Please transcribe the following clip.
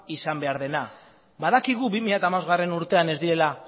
izan behar dena badakigu bi mila hamabostgarrena urtean ez direla